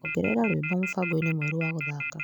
Ongerera rwĩmbo mũbango-inĩ mwerũ wa gũthaka .